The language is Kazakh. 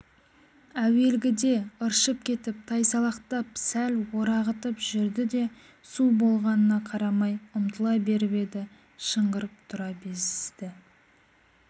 әуелгіде ыршып кетіп тайсалақтап сәл орағытып жүрді де су болғанына қарамай ұмтыла беріп еді шыңғырып тұра безіді